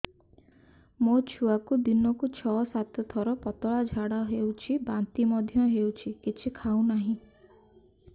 ମୋ ଛୁଆକୁ ଦିନକୁ ଛ ସାତ ଥର ପତଳା ଝାଡ଼ା ହେଉଛି ବାନ୍ତି ମଧ୍ୟ ହେଉଛି କିଛି ଖାଉ ନାହିଁ